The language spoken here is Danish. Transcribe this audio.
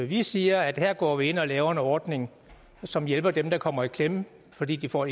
vi siger at her går vi ind og laver en ordning som hjælper dem der kommer i klemme fordi de får